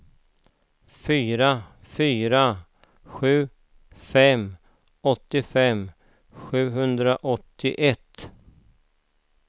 fyra fyra sju fem åttiofem sjuhundraåttioett